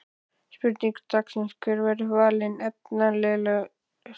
Spurning dagsins er: Hver verður valinn efnilegastur?